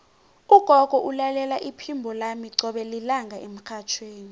ugogo ulalela iphimbo lami qobe lilanga emrhatjhweni